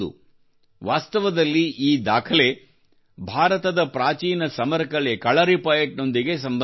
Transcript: ವಾಸ್ತವದಲ್ಲಿ ಈ ದಾಖಲೆ ಭಾರತದ ಪ್ರಾಚೀನ ಸಮರ ಕಲೆ ಕಲರೀಪಯಟ್ ನೊಂದಿಗೆ ಸಂಬಂಧ ಹೊಂದಿದೆ